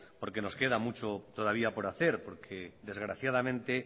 porque nos queda mucho todavía por hacer porque desgraciadamente